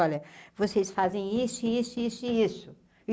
Olha, vocês fazem isso, e isso, e isso, e isso.